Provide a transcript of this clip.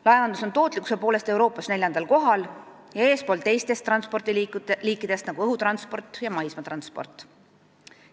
Laevandus on tootlikkuse poolest Euroopas neljandal kohal ja eespool teistest transpordiliikidest, nagu õhutransport ja maismaatransport.